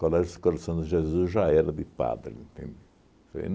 Colégios Coração de Jesus, já era de padre, entende? Falei